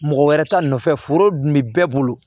Mɔgɔ wɛrɛ ta nɔfɛ foro dun be bɛɛ bolo